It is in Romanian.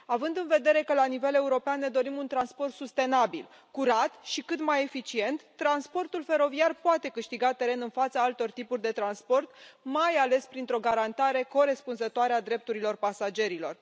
Având în vedere că, la nivel european, ne dorim un transport sustenabil, curat și cât mai eficient, transportul feroviar poate câștiga teren în fața altor tipuri de transport, mai ales printr o garantare corespunzătoare a drepturilor pasagerilor.